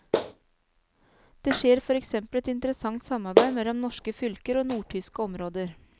Det skjer for eksempel et interessant samarbeid mellom norske fylker og nordtyske områder.